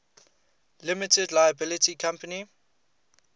limited liability company